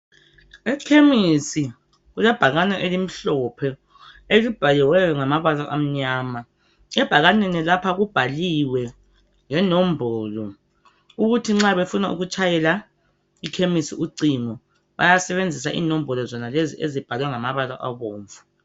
Ekhemisi kulebhakane elimhlophe elibhaliweyo ngamabala amnyama ebhakaneni lapha kubhaliwe lenombolo ukuthi nxa befuna ukutshayela ikhemisi ucingo bayasebenzisa inombolo zonalezi ezibhalwe ngamabala abomvu.